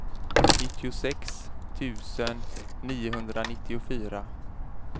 nittiosex tusen niohundranittiofyra